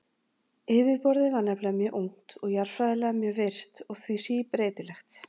Yfirborðið var nefnilega mjög ungt og jarðfræðilega mjög virkt og því síbreytilegt.